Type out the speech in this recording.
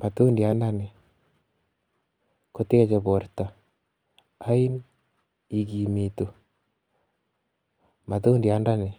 Matundiandani koteche borto, yoin ikimitu, matundiandani